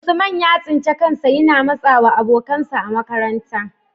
Usman ya tsinci kansa yana matsawa abokansa a makaranta,